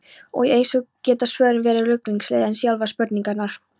Og eins geta svörin verið ruglingslegri en sjálfar spurningarnar.